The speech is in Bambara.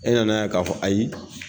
E nana ka fɔ ayi